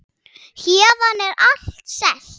Héðan er allt selt.